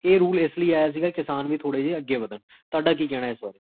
ਉਇਓਕ੍ਜ੍ਜ੍ਕੋ